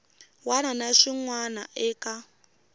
wana na xin wana eka